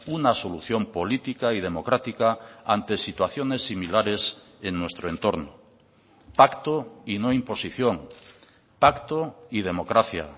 una solución política y democrática ante situaciones similares en nuestro entorno pacto y no imposición pacto y democracia